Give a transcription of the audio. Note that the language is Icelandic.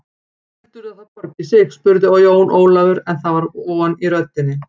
Heldurðu að það borgi sig spurði Jón Ólafur, en það var von í röddinni.